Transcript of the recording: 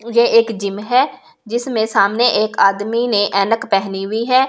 ये एक जिम है जिसमे सामने एक आदमी ने ऐनक पहनी हुई है इस।